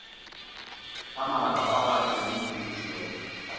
ka mabaka ao a tšweleditšwego